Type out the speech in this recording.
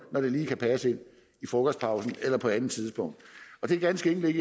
lige kan passe ind i frokostpausen eller på et andet tidspunkt og det er ganske enkelt